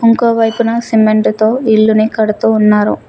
ఇంకో వైపున సిమెంటుతో ఇల్లు ని కడుతూ ఉన్నారు.